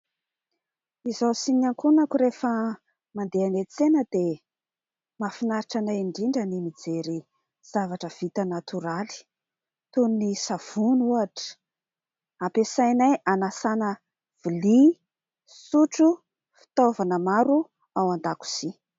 Izaho sy ny ankohonako rehefa mandeha eny an-tsena dia mahafinaritra anay indrindra ny mijery zavatra vita natoraly. Toy ny savony ohatra, ampiasanay hanasana lovia, sotro, fitaovana maro ao an-dakozia.